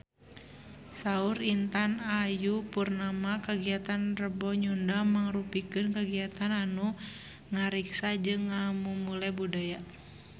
Saur Intan Ayu Purnama kagiatan Rebo Nyunda mangrupikeun kagiatan anu ngariksa jeung ngamumule budaya Sunda